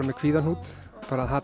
með kvíðahnút bara